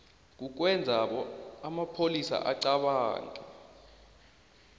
kukwenza amapholisa acabange